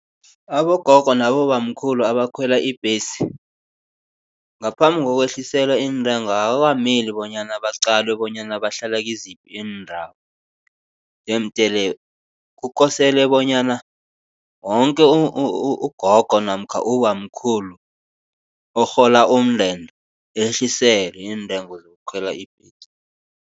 Abogogo nabobamkhulu abakhwela ibhesi, ngaphambi kokwehliselwa iintengo akukameli bonyana baqalwe bonyana bahlala kiziphi iindawo. Jemdele kukosele bonyana woke ugogo namkha ubamkhulu orhola umndende ehliselwe iintengo zokukhwela ibhesi.